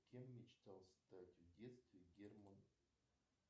кем мечтал стать в детстве герман